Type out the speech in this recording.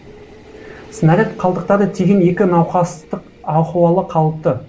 снаряд қалдықтары тиген екі науқастық ахуалы қалыпты